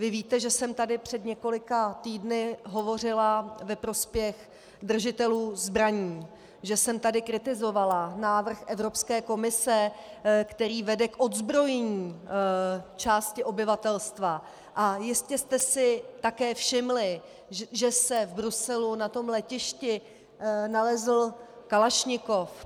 Vy víte, že jsem tady před několika týdny hovořila ve prospěch držitelů zbraní, že jsem tady kritizovala návrh Evropské komise, který vede k odzbrojení části obyvatelstva, a jistě jste si také všimli, že se v Bruselu na tom letišti nalezl kalašnikov.